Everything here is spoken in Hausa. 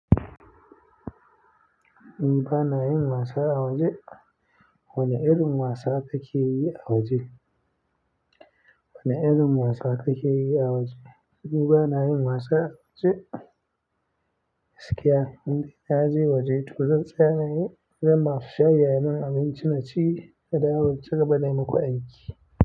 Ni bana yin wasa a waje. Wane irin wasa take yi a waje? Wane irin wasa take yi a waje? Ni bana yin wasa ce, gaskiya. Ni na je waje to zan tsaya ne, gun masu shayi ayi min abinci na ci, na dawo na cigaba da yi muku aiki.